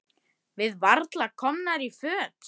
Við varla komnar í fötin.